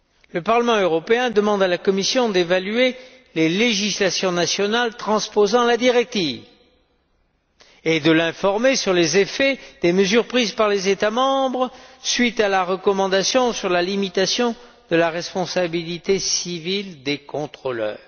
Le Parlement européen demande à la Commission d'évaluer les législations nationales transposant la directive et de l'informer des effets des mesures prises par les États membres suite à la recommandation sur la limitation de la responsabilité civile des contrôleurs.